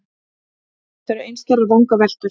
En þetta eru einskærar vangaveltur.